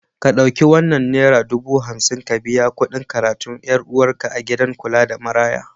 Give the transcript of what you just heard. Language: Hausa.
Ka ɗauki wannan nera dubu hamsin ka biya kuɗin karatun ‘yar uwarka a gidan kula da yara.